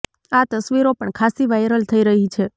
આ તસ્વીરો પણ ખાસ્સી વાયરલ થઈ રહી છે